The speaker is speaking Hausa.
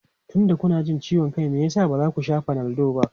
Tunda kuna jin ciwon kai, me yasa ba za ku sha Panadol ba?